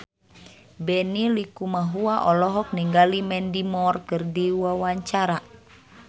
Benny Likumahua olohok ningali Mandy Moore keur diwawancara